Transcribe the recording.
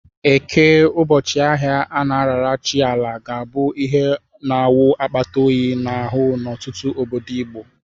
Eke, ụbọchị ahịa a na-arara chi Ala, ga-abụ ihe na-awụ akpata oyi n'ahụ n'ọtụtụ obodo Igbo.